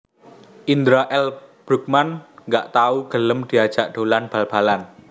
Indra L Bruggman gak tau gelem diajak dolan bal balan